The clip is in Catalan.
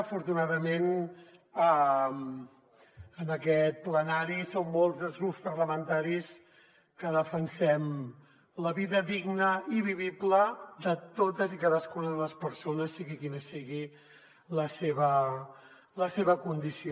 afortunadament en aquest plenari som molts els grups parlamentaris que defensem la vida digna i vivible de totes i cadascuna de les persones sigui quina sigui la seva condició